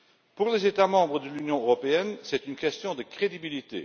Pour les États membres de l'Union européenne, c'est une question de crédibilité.